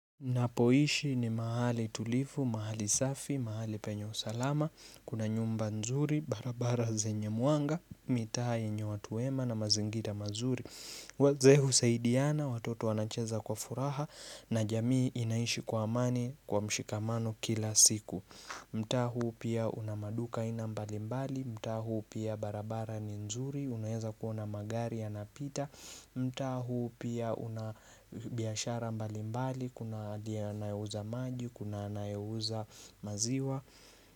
Napoishi ni mahali tulifu, mahali safi, mahali penye usalama, kuna nyumba nzuri, barabara zenye mwanga, mitaa yenye watu wema na mazingira mazuri. Wazee husaidiana, watoto wanacheza kwa furaha na jamii inaishi kwa amani kwa mshikamano kila siku. Mtaa huu pia una maduka aina mbalimbali, mtaa huu pia barabara ni nzuri, unaeza kuona magari yanapita. Mtaa huu pia una biashara mbalimbali, kuna hadi anayeuza maji, kuna anayeuza maziwa.